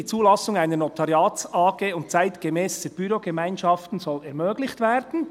«Die Zulassung einer NotariatsAG und zeitgemässer Bürogemeinschaften soll ermöglicht werden.